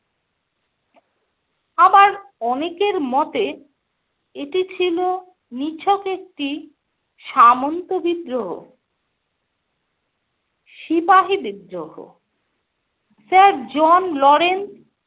আবার অনেকের মতে এটি ছিল নিছক একটি সামন্ত বিদ্রোহ। সিপাহী বিদ্রোহ - Sir জন লরেন্স,